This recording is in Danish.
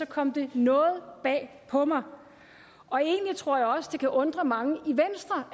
kom det noget bag på mig og egentlig tror jeg også at det kan undre mange